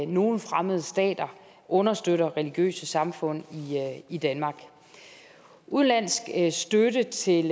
nogle fremmede stater understøtter religiøse samfund i danmark udenlandsk støtte til